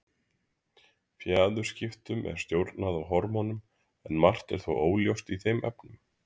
Fjaðurskiptum er stjórnað af hormónum, en margt er þó óljóst í þeim efnum.